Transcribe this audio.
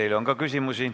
Teile on ka küsimusi.